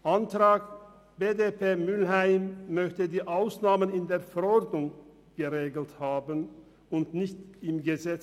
Der Antrag BDP und Mühlheim möchte die Ausnahmen in der Verordnung geregelt haben und nicht im Gesetz.